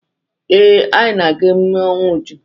Ee, anyị na-aga emume ọnwụ Uju.